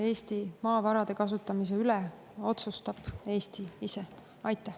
Eesti maavarade kasutamise üle otsustab Eesti ise.